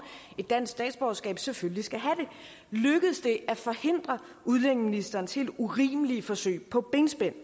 et dansk statsborgerskab selvfølgelig skal have det lykkedes det at forhindre udlændingeministerens helt urimelige forsøg på benspænd